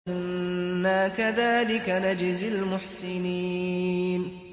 إِنَّا كَذَٰلِكَ نَجْزِي الْمُحْسِنِينَ